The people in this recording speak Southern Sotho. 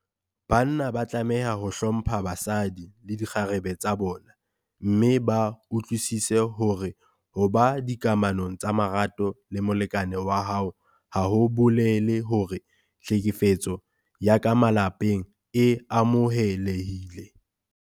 Banna ba tlameha ho hlompha basadi le dikgarebe tsa bona mme ba utlwisise hore ho ba dikamanong tsa marato le molekane wa hao ha ho bolele hore tlhekefetso ya ka malapeng e amohelehile.